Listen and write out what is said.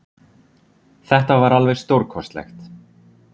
Þetta var alveg stórkostlegt